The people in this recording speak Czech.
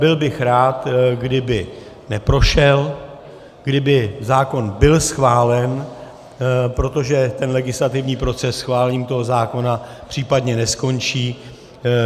Byl bych rád, kdyby neprošel, kdyby zákon byl schválen, protože ten legislativní proces schválením toho zákona případně neskončí.